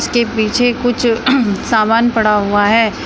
इसके पीछे कुछ सामान पड़ा हुआ है।